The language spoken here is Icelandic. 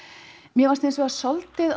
mér fannst hinsvegar svolítið